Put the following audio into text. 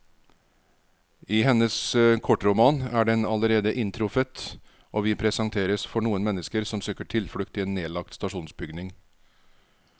I hennes kortroman er den allerede inntruffet, og vi presenteres for noen mennesker som søker tilflukt i en nedlagt stasjonsbygning.